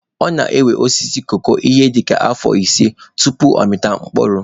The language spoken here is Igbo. Ọ na-ewe osisi koko ihe dịka afọ ise tupu ọ mịpụta mkpụrụ.